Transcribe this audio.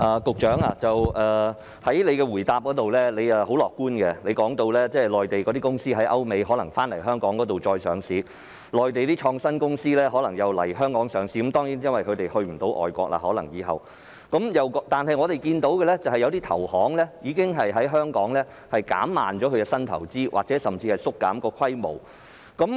局長在主體答覆中說得很樂觀，他說在歐美的內地公司可能會來港上市，內地的創新公司亦可能會來港上市，這當然是由於它們以後可能無法再前往外國上市；但我們卻看到一些投行已經在香港減慢進行新投資的步伐或甚至縮減規模。